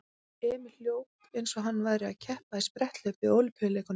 Emil hljóp eins og hann væri að keppa í spretthlaupi á Ólympíuleikunum.